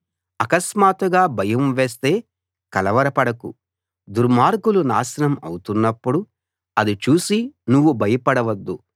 అకస్మాత్తుగా భయం వేస్తే కలవరపడకు దుర్మార్గులు నాశనం అవుతున్నప్పుడు అది చూసి నువ్వు భయపడవద్దు